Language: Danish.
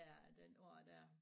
Der den år dér